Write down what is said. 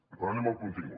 però anem al contingut